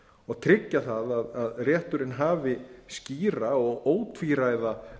og tryggja það að rétturinn hafi skýra og ótvíræða lagaheimild til að